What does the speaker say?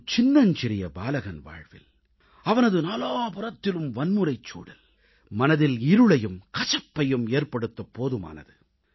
ஒரு சின்னஞ்சிறிய பாலகன் வாழ்வில் அவனது நாலாபுறத்திலும் வன்முறைச் சூழல் மனதில் இருளையும் கசப்பையும் ஏற்படுத்தப் போதுமானது